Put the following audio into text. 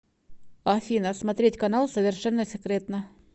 афина смотреть канал совершенно секретно